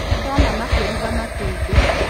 Nĩndona makĩruga matumbĩ